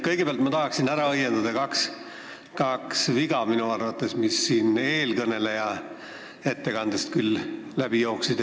Kõigepealt tahan ära õiendada kaks viga, mis eelkõneleja ettekandest minu arvates läbi jooksid.